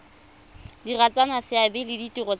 diragatsa seabe le ditiro tsa